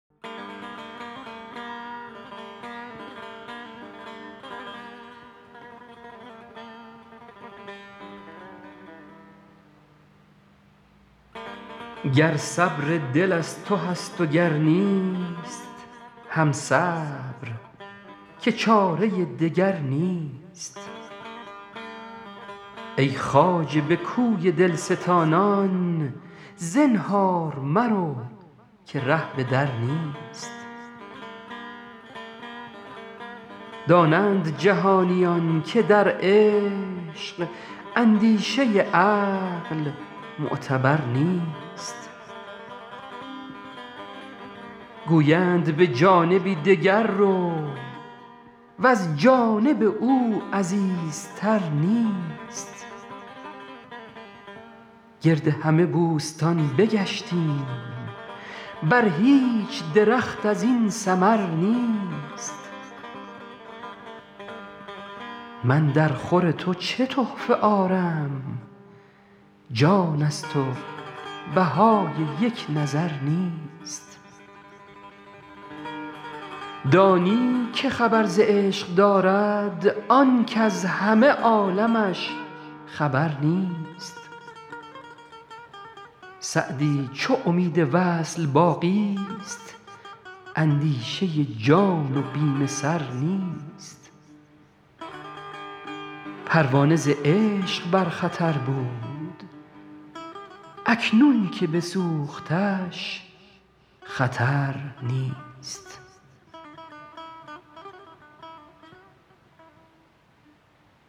گر صبر دل از تو هست و گر نیست هم صبر که چاره دگر نیست ای خواجه به کوی دل ستانان زنهار مرو که ره به در نیست دانند جهانیان که در عشق اندیشه عقل معتبر نیست گویند به جانبی دگر رو وز جانب او عزیزتر نیست گرد همه بوستان بگشتیم بر هیچ درخت از این ثمر نیست من درخور تو چه تحفه آرم جان ست و بهای یک نظر نیست دانی که خبر ز عشق دارد آن کز همه عالمش خبر نیست سعدی چو امید وصل باقی ست اندیشه جان و بیم سر نیست پروانه ز عشق بر خطر بود اکنون که بسوختش خطر نیست